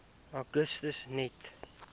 augustus net